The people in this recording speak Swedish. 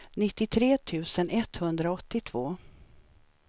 nittiotre tusen etthundraåttiotvå